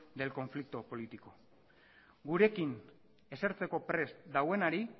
del conflicto político gurekin esertzeko prest daudenari